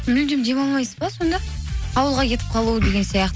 мүлдем демалмайсыз ба сонда ауылға кетіп қалу деген